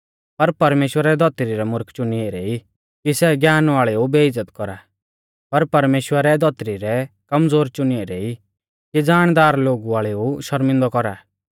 पर परमेश्‍वरै धौतरी रै मुर्ख चुनी ऐरै ई कि सै ज्ञान वाल़ेऊ बेइज़्ज़त कौरा और परमेश्‍वरै धौतरी रै कमज़ोर चुनी ऐरै ई कि ज़ाणदार लोगु वाल़ेऊ शर्मिंदै कौरा